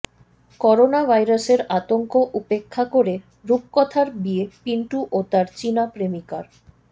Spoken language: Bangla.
করোনা ভাইরাসের আতঙ্ক উপেক্ষা করে রূপকথার বিয়ে পিন্টু ও তার চিনা প্রেমিকার